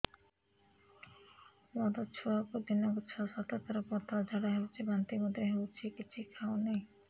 ମୋ ଛୁଆକୁ ଦିନକୁ ଛ ସାତ ଥର ପତଳା ଝାଡ଼ା ହେଉଛି ବାନ୍ତି ମଧ୍ୟ ହେଉଛି କିଛି ଖାଉ ନାହିଁ